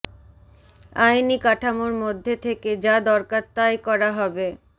আইনি কাঠামোর মধ্যে থেকে যা দরকার তাই করা হবে